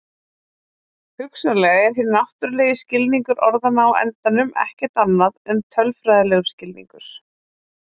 Hugsanlega er hinn náttúrulegi skilningur orðanna á endanum ekkert annað en tölfræðilegur skilningur.